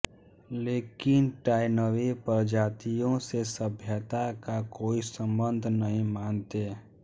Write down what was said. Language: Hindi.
लेकिन टॉयनबी प्रजातियों से सभ्यता का कोई संबंध नहीं मानते